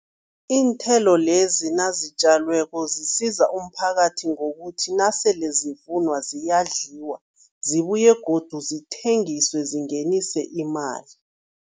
Iinthelo lezi nazitjalweko zisiza umphakathi ngokuthi nasele zifunwa ziyadliwa, zibuye godu zithengiswe, zingenise imali.